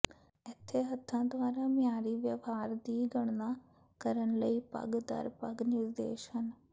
ਇੱਥੇ ਹੱਥਾਂ ਦੁਆਰਾ ਮਿਆਰੀ ਵਿਵਹਾਰ ਦੀ ਗਣਨਾ ਕਰਨ ਲਈ ਪਗ਼ ਦਰ ਪਗ਼ ਨਿਰਦੇਸ਼ ਹਨ